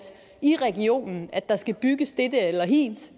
i regionen at der skal bygges dette eller hint